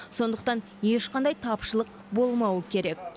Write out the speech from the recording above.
сондықтан ешқандай тапшылық болмауы керек